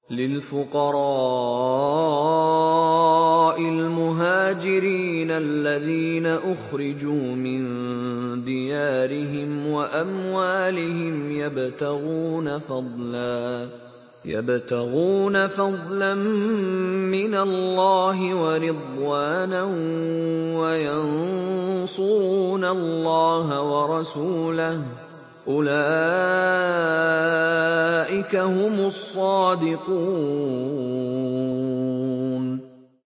لِلْفُقَرَاءِ الْمُهَاجِرِينَ الَّذِينَ أُخْرِجُوا مِن دِيَارِهِمْ وَأَمْوَالِهِمْ يَبْتَغُونَ فَضْلًا مِّنَ اللَّهِ وَرِضْوَانًا وَيَنصُرُونَ اللَّهَ وَرَسُولَهُ ۚ أُولَٰئِكَ هُمُ الصَّادِقُونَ